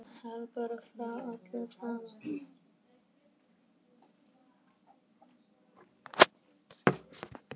Hleypur frá öllu saman.